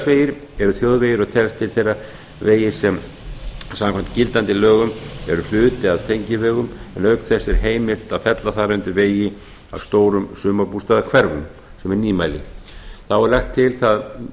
eru þjóðvegir og teljast til þeirra vegir sem samkvæmt gildandi lögum eru hluti af tengivegum en auk þess er heimilt að fella þar undir vegi að stórum sumarbústaðahverfum sem er nýmæli þá er lagt til það